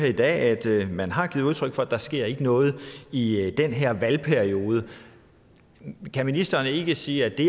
i dag at man har givet udtryk for at der ikke sker noget i den her valgperiode kan ministeren ikke sige at det